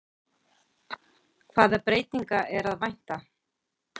Hvaða breytinga er að vænta?